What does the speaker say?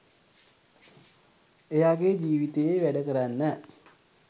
එයාගේ ජීවිතයේ වැඩකරන්න